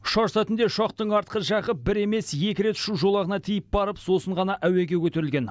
ұшар сәтінде ұшақтың артқы жағы бір емес екі рет ұшу жолағына тиіп барып сосын ғана әуеге көтерілген